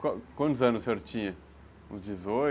Quantos anos o senhor tinha? Uns dezoito?